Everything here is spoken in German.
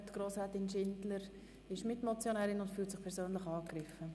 Grossrätin Schindler ist Mitmotionärin und fühlt sich persönlich angegriffen.